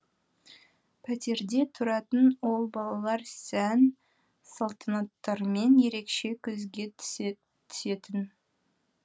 пәтерде тұратын ол балалар сән салтанаттарымен ерекше көзге түсетін